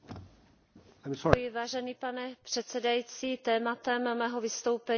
Pane předsedající, tématem mého vystoupení jsou uprchlíci.